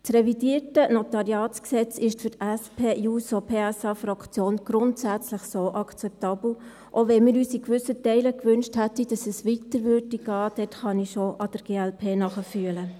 Das revidierte NG ist für die SP-JUSO-PSA-Fraktion so grundsätzlich akzeptabel, auch wenn wir uns in gewissen Teilen gewünscht hätten, dass es weiter gehen würde – diesbezüglich kann ich der glp schon nachfühlen.